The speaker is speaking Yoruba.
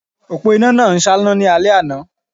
Òpó iná náà ń ṣáná ní alẹ́ àná